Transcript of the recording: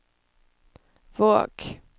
Våg